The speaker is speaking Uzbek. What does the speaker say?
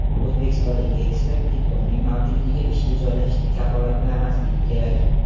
O‘zbekistonlik ekspert: Diplomning mavjudligi ishga joylashishni kafolatlamasligi kerak.